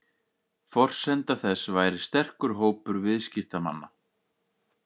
Forsenda þess væri sterkur hópur viðskiptamanna